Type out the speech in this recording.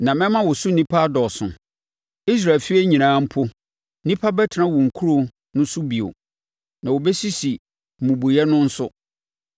na mɛma wo so nnipa adɔɔso. Israel efie nyinaa mpo, nnipa bɛtena wo nkuro no so bio, na wɔbɛsisi mmubuiɛ no nso.